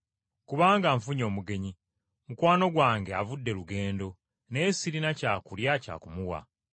kubanga nfunye omugenyi, mukwano gwange avudde lugendo, naye sirina kyakulya kya kumuwa.’ ”